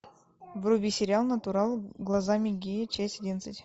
вруби сериал натурал глазами гея часть одиннадцать